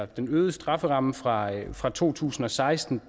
den øgede strafferamme fra fra to tusind og seksten